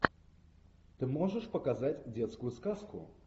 ты можешь показать детскую сказку